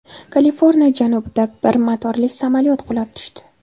Kaliforniya janubida bir motorli samolyot qulab tushdi.